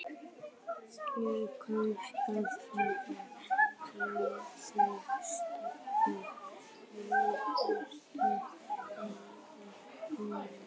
Ég komst að fyrstu pólitísku niðurstöðu ævi minnar